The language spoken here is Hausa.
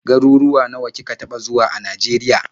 Garuwuwa nawa kika taɓa zuwa a Najeriya.